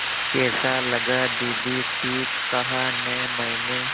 कैसा लगा दीदी ठीक कहा न मैंने